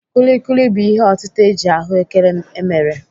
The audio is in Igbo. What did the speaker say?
Kuli kuli bụ ihe otịta eji ahụ́kere emere.